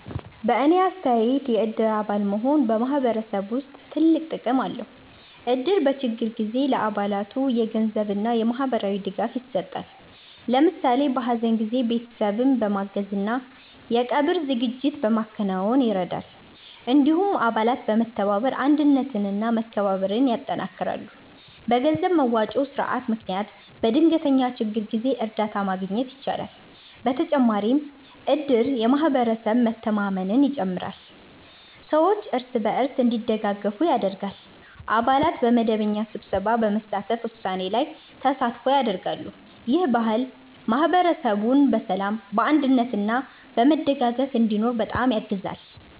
በእኔ አስተያየት የእድር አባል መሆን በማህበረሰብ ውስጥ ትልቅ ጥቅም አለው። እድር በችግር ጊዜ ለአባላቱ የገንዘብ እና የማህበራዊ ድጋፍ ይሰጣል። ለምሳሌ በሀዘን ጊዜ ቤተሰብን በማገዝ እና የቀብር ዝግጅት በማከናወን ይረዳል። እንዲሁም አባላት በመተባበር አንድነት እና መከባበር ያጠናክራሉ። በገንዘብ መዋጮ ስርዓት ምክንያት በድንገተኛ ችግር ጊዜ እርዳታ ማግኘት ይቻላል። በተጨማሪም እድር የማህበረሰብ መተማመንን ይጨምራል፣ ሰዎች እርስ በርስ እንዲደጋገፉ ያደርጋል። አባላት በመደበኛ ስብሰባ በመሳተፍ ውሳኔ ላይ ተሳትፎ ያደርጋሉ። ይህ ባህል ማህበረሰቡን በሰላም፣ በአንድነት እና በመደጋገፍ እንዲኖር በጣም ያግዛል።